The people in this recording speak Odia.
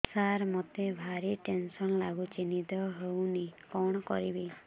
ସାର ମତେ ଭାରି ଟେନ୍ସନ୍ ଲାଗୁଚି ନିଦ ହଉନି କଣ କରିବି